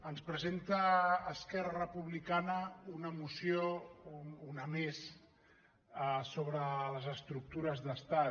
ens presenta esquerra republicana un moció una més sobre les estructures d’estat